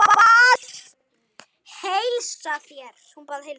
Hún bað að heilsa þér.